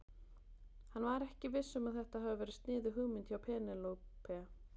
Hann var ekki viss um að þetta hafi verið sniðug hugmynd hjá Penélope.